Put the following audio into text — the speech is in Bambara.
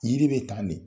Yiri bɛ tan de